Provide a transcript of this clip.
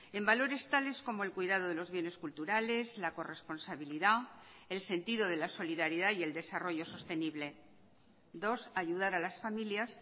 en valores tales como el cuidado de los bienes culturales la corresponsabilidad el sentido de la solidaridad y el desarrollo sostenible dos ayudar a las familias